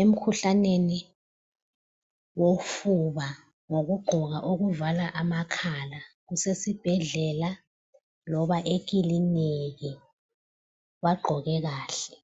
emkhuhlaneni wofuba ngokugqoka okuvala amakhala .Kusesibhedlela loba ekilinika, bagqoke kahle.